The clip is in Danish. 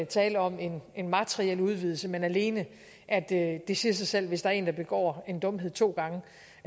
tale om en en materiel udvidelse men alene at det siger sig selv at hvis der er en der går en dumhed to gange